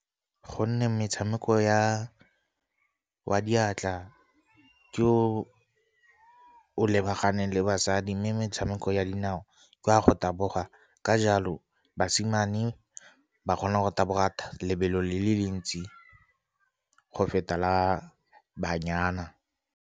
Gonne metshameko wa diatla ke o o lebaganeng le basadi, mme metshameko ya dinao ke wa go taboga. Ka jalo basimane ba kgona go taboga lebelo le le le ntsi go feta la banyana.